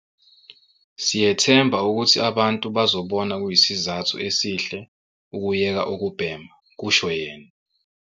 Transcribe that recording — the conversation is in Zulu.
"Siyethemba ukuthi abantu bazobona kuyisizathu esihle ukuyeka ukubhema," kusho yena.